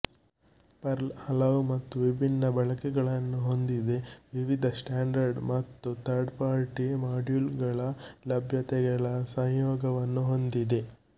pearl ಹಲವು ಮತ್ತು ವಿಭಿನ್ನ ಬಳಕೆಗಳನ್ನು ಹೊಂದಿದೆ ವಿವಿಧ ಸ್ಟ್ಯಾಂಡರ್ಡ್ ಮತ್ತು ಥರ್ಡ್ಪಾರ್ಟಿ ಮಾಡ್ಯೂಲ್ಗಳ ಲಭ್ಯತೆಗಳ ಸಂಯೋಗವನ್ನೂ ಹೊಂದಿದೆ